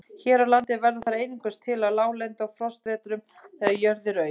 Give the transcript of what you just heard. Hér á landi verða þær einungis til á láglendi á frostavetrum, þegar jörð er auð.